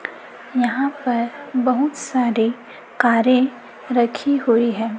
यहाॅं पर बहुत सारे कारें रखी हुई हैं।